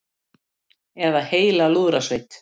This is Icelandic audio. Eða heila lúðrasveit.